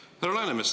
Härra Läänemets!